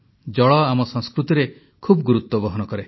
ଜଳ ଆମ ସଂସ୍କୃତିରେ ଖୁବ ଗୁରୁତ୍ୱ ବହନ କରେ